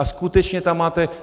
a skutečně tam máte...